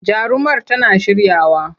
Jarumar tana shiryawa.